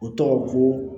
O tɔgɔ ko